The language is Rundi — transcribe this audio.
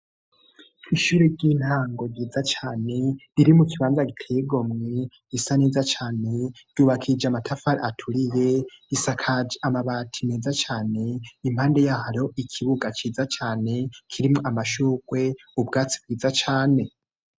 Ishuri ry'intango ryiza cane riri mu kibanza giteye igomwe gisa neza cane ,ryubakishije amatafari aturiye risakaje amabati meza cane, impande yaho hariho ikibuga ciza cane kirimo amashurwe, ubwatsi bwiza cane.